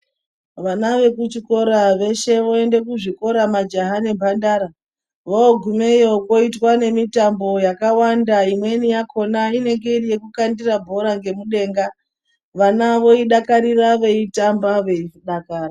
Vana ve kuchikora veshe voende ku zvikora majaha ne mbandara vo gumeyo koitwa ne mitambo yakawanda imweni yakona inenge iri yeku kandira bhora nge mudenga vana voi dakarira vei tamba vei dakara.